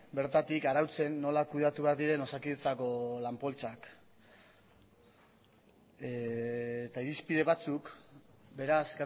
bertatik arautzen nola kudeatu behar diren osakidetzako lan poltsak eta irizpide batzuk beraz